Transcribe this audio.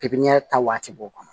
Pipiniyɛri ta waati b'o kɔnɔ